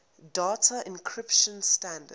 data encryption standard